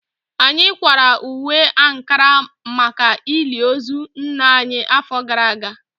Anyị kwara uwe ankara maka ili ozu nna anyị afọ gara aga